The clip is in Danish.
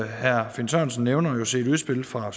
herre finn sørensen nævner set udspil fra